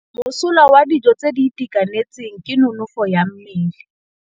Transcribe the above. Mosola wa dijô tse di itekanetseng ke nonôfô ya mmele.